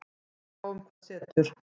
Við sjáum hvað setur